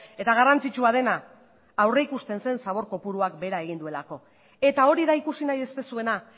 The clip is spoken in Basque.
eta garrantzitsua dena aurrikusten zen zabor kopuruak behera egin duelako eta hori da ikusi nahi ez duzuena